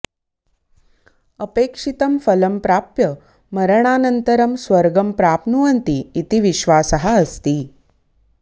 अपेक्षितं फलं प्राप्य मरणानन्तरं स्वर्गं प्राप्नुवन्ति इति विश्वासः अस्ति